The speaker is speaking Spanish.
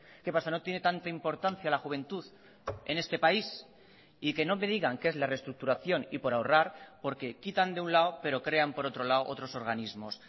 qué pasa no tiene tanta importancia la juventud en este país y que no me digan que es la reestructuración y por ahorrar porque quitan de un lado pero crean por otro lado otros organismos